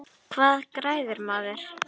Hvað græðir maður?